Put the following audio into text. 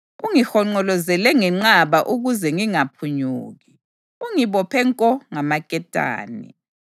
Ungihonqolozele ngenqaba ukuze ngingaphunyuki; ungibophe nko ngamaketane.